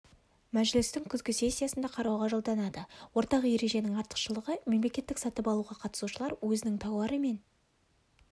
мәжілістің күзгі сессиясында қарауға жолданады ортақ ереженің артықшылығы мемлекеттік сатып алуға қатысушылар өзінің тауары мен